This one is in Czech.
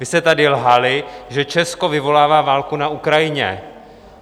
Vy jste tady lhali, že Česko vyvolává válku na Ukrajině.